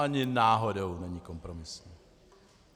Ani náhodou není kompromisní.